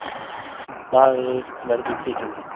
Maður verður kvikindi.